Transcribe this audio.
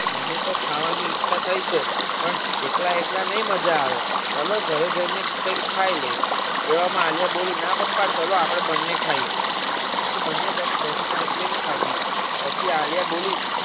મનેતો ખાવાની ઈચ્છા થઇ છે પણ એકલા એકલા નહિ મજાવે ચાલો ઘરે જઈને કૈક ખાય લઈશ એવામાં આલ્યા બોલી ના પપ્પા ચલો આપડે બને ખાઈએ પછી બંને જણાયે બેસીને ice cream ખાધી પછી આલ્યા બોલી